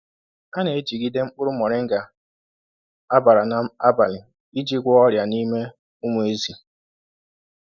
A na-ejigide mkpụrụ moringa á bàrà n’abalị iji gwọọ ọrịa n’ime ụmụ ezi.